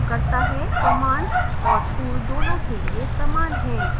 commands और tools दोनों के लिए समान हैं